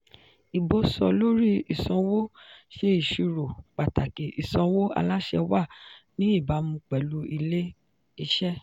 ìbò sọ-lórí-ìsanwó ṣe ìṣirò pàtàkì ìsanwó aláṣẹ wà ní ìbámu pẹ̀lú ilé-iṣẹ́.